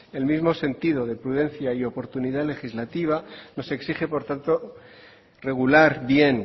el mismo sentido de prudencia y oportunidad legislativa nos exige por tanto regular bien